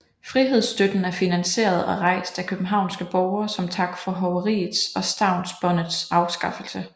Frihedstøtten er finansieret og rejst af københavnske borgere som tak for hoveriets og Stavnsbåndets afskaffelse